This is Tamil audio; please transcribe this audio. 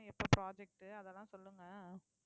எப்ப project அதெல்லாம் சொல்லுங்க